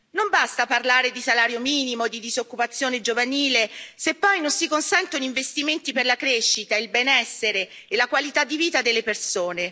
Non basta parlare di salario minimo e di disoccupazione giovanile, se poi non si consentono investimenti per la crescita, il benessere e la qualità di vita delle persone.